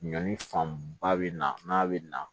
Ɲɔni fanba bɛ na n'a bɛ na